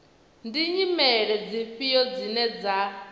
ndi nyimele dzifhio dzine dza